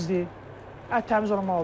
Ət təmiz olmalıdır.